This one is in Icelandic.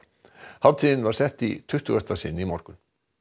hátíðin var sett í tuttugasta sinn í morgun